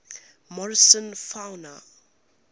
morrison fauna